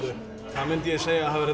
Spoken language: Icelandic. það myndi ég segja að væri